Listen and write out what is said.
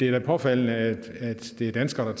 er påfaldende at det er danskere